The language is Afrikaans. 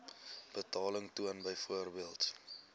betaling toon byvoorbeeld